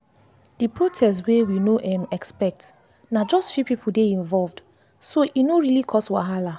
the protest wey we no um expect na just few people dey involved so e no really cause wahala.